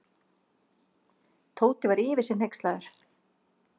Tóti var yfir sig hneykslaður.